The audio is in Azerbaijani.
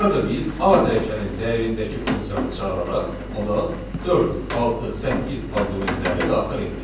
Burada biz A dəyişənin dəyərindəki funksiyanı çağıraraq ona 4, 6, 8 arqumentlərini daxil etdik.